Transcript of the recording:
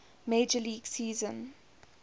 major league season